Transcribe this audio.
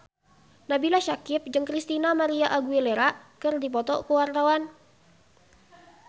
Nabila Syakieb jeung Christina María Aguilera keur dipoto ku wartawan